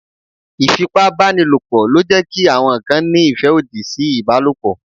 Ìfipá banílòpọ̀ ló jẹ́ kí àwọn kan ní ìfẹ́ òdì sí ìbálòpọ̀.